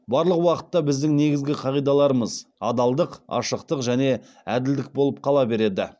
барлық уақытта біздің негізгі қағидаларымыз адалдық ашықтық және әділдік болып қала береді